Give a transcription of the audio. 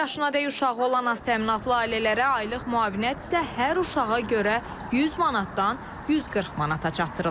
Bir yaşına dək uşağı olan aztəminatlı ailələrə aylıq müavinət isə hər uşağa görə 100 manatdan 140 manata çatdırılıb.